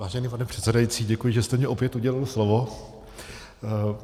Vážený pane předsedající, děkuji, že jste mi opět udělil slovo.